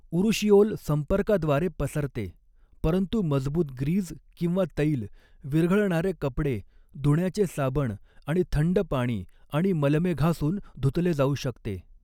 Urushiol संपर्काद्वारे पसरते परंतु मजबूत ग्रीज किंवा तैल विरघळणारे कपडे धुण्याचे साबण आणि थंड पाणी आणि मलमे घासून धुतले जाऊ शकते.